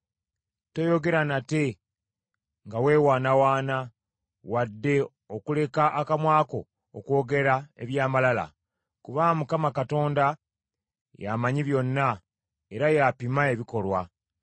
Toyogera nate nga weewaanawaana wadde okuleka akamwa ko okwogera eby’amalala, kubanga Mukama Katonda y’amanyi byonna, era y’apima ebikolwa.